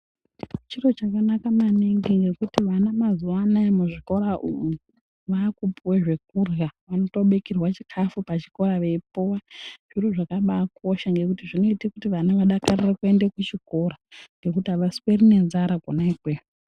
Chiro chakanaka maningi ngekuti vana mazuwa anaa muzvikora umu vaakupuwe zvekurhya, vanotobikirwa chikafu pachikora veipuwa, zviro zvakabaakosha ngekuti zvinoite kuti vana vadakarire kuende kuchikora ngekuti avasweri nenzara kona ikweyo.